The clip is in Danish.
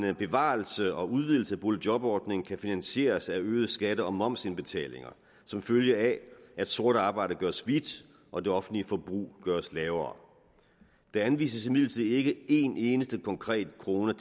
en bevarelse og udvidelse af boligjobordningen kan finansieres af øgede skatte og momsindbetalinger som følge af at sort arbejde gøres hvidt og det offentlige forbrug gøres lavere der anvises imidlertid ikke en eneste konkret krone